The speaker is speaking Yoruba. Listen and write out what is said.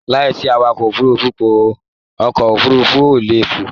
Láìsí awakọ̀ òfurùnfu, ọkọ òfurùnfu o lè fò